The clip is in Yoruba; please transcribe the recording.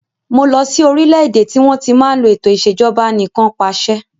Mo lọ sí orílédé tí wọn tí máa ń lò ètò ìsèjọba anìkanpàṣẹ